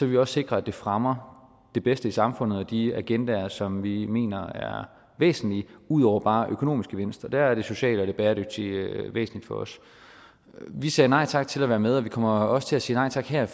vi også sikre at det fremmer det bedste i samfundet og de agendaer som vi mener er væsentlige ud over bare økonomisk gevinst og der er det sociale og det bæredygtige væsentligt for os vi sagde nej tak til at være med og vi kommer også til at sige nej tak her